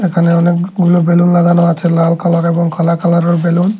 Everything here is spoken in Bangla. এখানে অনেকগুলো বেলুন লাগানো আছে লাল কালার এবং কালা কালারের বেলুন ।